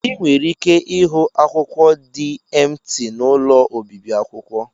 Ị nwere ike ịhụ akwụkwọ dị emti n'ụlọ obibi akwụkwọ.